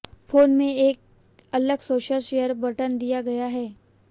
phone में एक अलग सोशल शेयर बटन दिया गया है